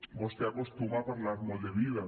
vostè acostuma a parlar molt de vida